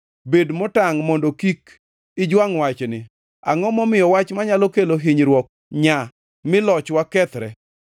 Bed motangʼ mondo kik ijwangʼ wachni. Angʼo momiyo wach manyalo kelo hinyruok nyaa, mi lochwa kethre?